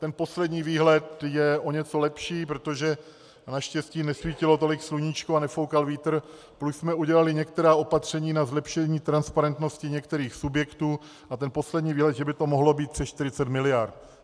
Ten poslední výhled je o něco lepší, protože naštěstí nesvítilo tolik sluníčko a nefoukal vítr, plus jsme udělali některá opatření na zlepšení transparentnosti některých subjektů, a ten poslední výhled, že by to mohlo být přes 40 miliard.